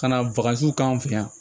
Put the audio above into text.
Ka na k'an fɛ yan